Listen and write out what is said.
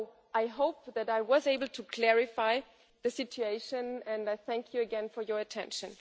I hope that I was able to clarify the situation, and I thank you again for your attention.